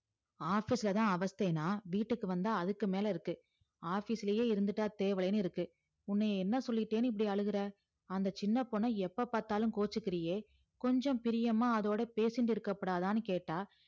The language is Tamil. office லதா அவஷ்த்தனா இங்க அதுக்கு மேல இருக்கு office லே இருந்துட்டா தெய்வலேனு இருக்கு உன்னய என்ன சொல்லிட்டேன்னு இப்டி அழுகற அந்த சின்ன பொண்ண எப்ப பாத்தாலும் கோச்சிகிரியே கொஞ்சம் பிரியமா அதோட பேசிண்டு இருக்கபடாதாணு கேட்டா